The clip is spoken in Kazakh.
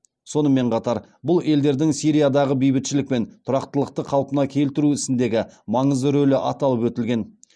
сонымен қатар бұл елдердің сириядағы бейбітшілік пен тұрақтылықты қалпына келтіру ісіндегі маңызды рөлі аталып өтілген